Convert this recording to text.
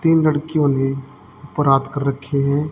तीन लड़कियों ने ऊपर हाथ कर रखे है।